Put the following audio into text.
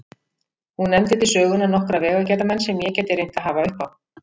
Hún nefndi til sögunnar nokkra vegagerðarmenn sem ég gæti reynt að hafa uppi á.